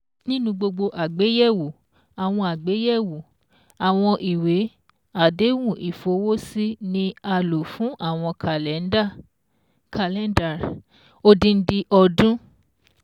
Nínu gbogbo àgbéyẹ̀wò, àwọn àgbéyẹ̀wò, àwọn ìwé-àdéhùn ìfowósí ni a lò fún àwọn Kàlẹ́ndà (Calendar) odindin ọdún